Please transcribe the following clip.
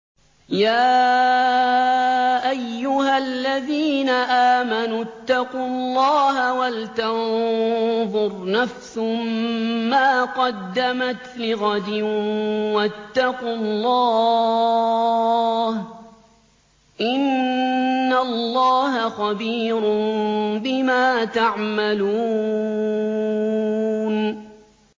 يَا أَيُّهَا الَّذِينَ آمَنُوا اتَّقُوا اللَّهَ وَلْتَنظُرْ نَفْسٌ مَّا قَدَّمَتْ لِغَدٍ ۖ وَاتَّقُوا اللَّهَ ۚ إِنَّ اللَّهَ خَبِيرٌ بِمَا تَعْمَلُونَ